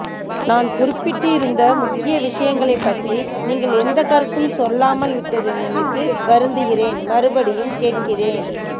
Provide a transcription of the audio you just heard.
நான் குறிப்பிட்டு இருந்த முக்கிய விஷயங்களை பற்றீ நீங்கள் எந்த கருத்தும் சொல்லாமல் விட்டதை நினைத்து வருந்துகிறேன் மறுபடியும் கேட்கிறேன்